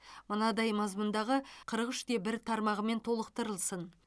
мынадай мазмұндағы қырық үш те бір тармағымен толықтырылсын